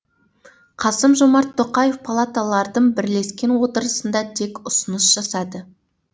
қасым жомарт тоқаев палаталардың бірлескен отырысында тек ұсыныс жасады